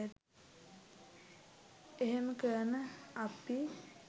එහෙම කරන අපි